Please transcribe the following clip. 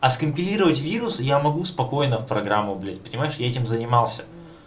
а скопировать вирусы я могу спокойно в программу блять понимаешь я этим занимался